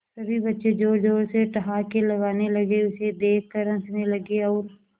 सभी बच्चे जोर जोर से ठहाके लगाने लगे उसे देख कर हंसने लगे और